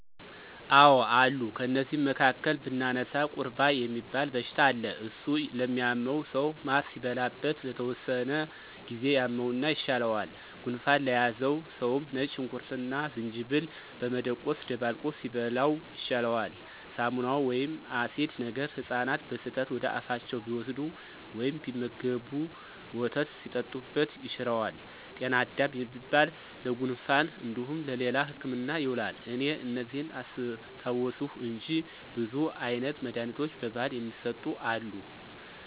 አዎ አሉ ከነዚህም መካከል ብናነሳ፦ ቁርባ የሚባል በሽታ አለ እሱ ለሚያመው ሰዉ ማር ሲበላበት ለተወሰነ ጊዜ ያመውና ይሻለዋል። ጉንፋን ለያዘው ሰውም ነጭ ሽንኩርትና ዝንጅብል በመደቆስ ደባልቆ ሲበላው ይሻለዋል። ሳሙና ወይም አሲድ ነገር ህጻናት በስህተት ወደአፋቸው ቢወስዱ ወይም ቢመገቡ ወተት ሲጠጡበት ይሽረዋል። ጤና አዳም የሚባል ለጉንፋን እንዲሁም ለሌላ ህክምና ይውላል። እኔ እነዚህን አስታወስሁ እንጂ ብዙ አይነት መድኃኒቶች በባህል የሚሰጡ አሉ።